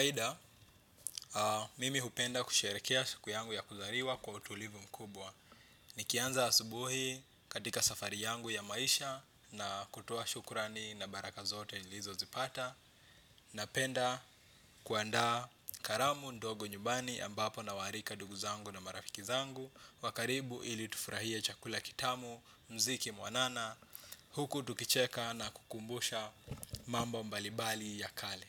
Haida, mimi hupenda kusherekea siku yangu ya kuzariwa kwa utulivu mkubwa. Nikianza asubuhi katika safari yangu ya maisha na kutua shukurani na baraka zote nilizo zipata. Napenda kuanda karamu ndogo nyumbani ambapo nawarika ndugu zangu na marafiki zangu. Wa karibu ili tufrahie chakula kitamu, mziki mwanana, huku tukicheka na kukumbusha mambo mbalibali ya kale.